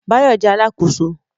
Báyọ̀ jẹ́ Alákóso